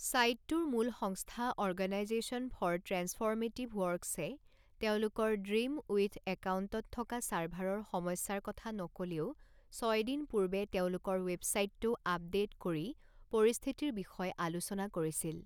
চাইটটোৰ মূল সংস্থা Organization for Transformative ৱৰ্কছে তেওঁলোকৰ ড্ৰিমউইডথ একাউণ্টত থকা চাৰ্ভাৰৰ সমস্যাৰ কথা নক'লেও ছয় দিন পূৰ্বে তেওঁলোকৰ ৱেবছাইটটো আপডেট কৰি পৰিস্থিতিৰ বিষয়ে আলোচনা কৰিছিল।